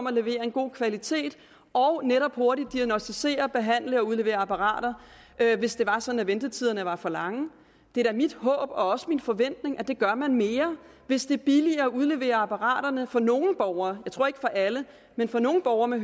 at levere en god kvalitet og netop hurtigt at diagnosticere behandle og udlevere apparater hvis det var sådan at ventetiderne var for lange det er da mit håb og også min forventning at det gøre mere hvis det er billigere at udlevere apparaterne for nogle borgere med tror ikke for alle men for nogle borgerne